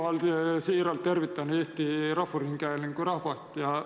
Ma siiralt tervitan Eesti Rahvusringhäälingu rahvast.